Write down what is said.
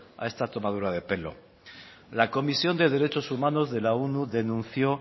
a esta tomadura de pelo la comisión de derechos humanos de la onu denunció